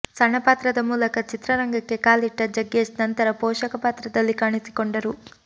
ಸಣ್ಣ ಪಾತ್ರದ ಮೂಲಕ ಚಿತ್ರರಂಗಕ್ಕೆ ಕಾಲಿಟ್ಟ ಜಗ್ಗೇಶ್ ನಂತರ ಪೋಷಕ ಪಾತ್ರದಲ್ಲಿ ಕಾಣಿಸಿಕೊಂಡರು